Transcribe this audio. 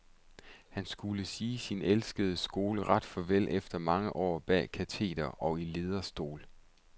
Han skulle sige sin elskede skole ret farvel efter mange år bag kateder og i lederstol.